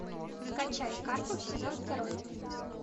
скачай карпов сезон второй